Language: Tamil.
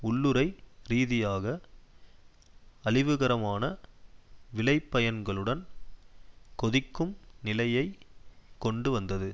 உள்ளுறை ரீதியாக அழிவுகரமான விளைபயன்களுடன் கொதிக்கும் நிலையை கொண்டு வந்தது